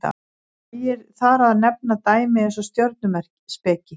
nægir þar að nefna dæmi eins og stjörnuspeki